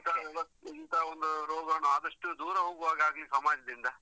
ಇಂತ ವ್ಯವಸ್ಥೆ, ಇಂತ ಒಂದು ರೋಗಾಣು ಆದಷ್ಟು ದೂರ ಹೋಗುವಗಾಗ್ಲಿ ಸಮಾಜದಿಂದ.